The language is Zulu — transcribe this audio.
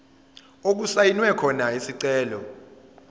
okusayinwe khona isicelo